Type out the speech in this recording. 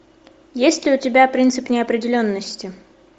есть ли у тебя принцип неопределенности